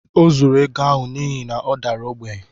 Ọ zuuru ego ahụ n’ihi na ọ dara ogbenye